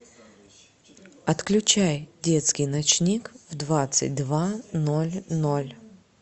отключай детский ночник в двадцать два ноль ноль